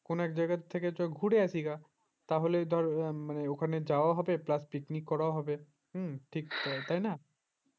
কোন এক জায়গা থেকে চ ঘুরে আসি গা তাহলে তো ওখানে যাওয়া হবে plus picnic করাও হবে হুম তাই না